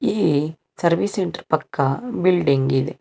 ಈ service centre ಪಕ್ಕ building ಇದೆ.